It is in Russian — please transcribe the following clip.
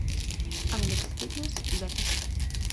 алекс фитнес запись